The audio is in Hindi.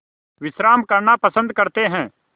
विश्राम करना पसंद करते हैं